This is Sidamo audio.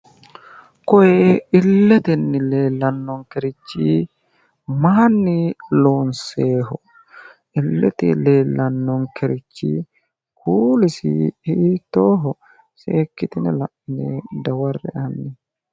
Kooye illetenni leellannokerichi mayiinni loonsooyeho? illete leellannokeriichi foolisi hiittoho? seekkitine la'ine dawarre"e hanni.